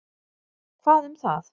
Hvað um það?